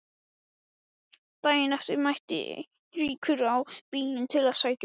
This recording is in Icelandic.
Daginn eftir mætti Eiríkur á bílnum til að sækja mig.